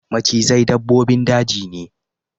Macizai dabbobin daji ne.